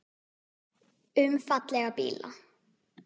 Um fallega bíla.